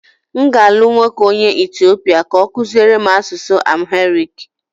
M ga-alụ nwoke onye Etiopia ka ọ kụziere m asụsụ Amharic